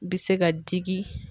Bɛ se ka digi.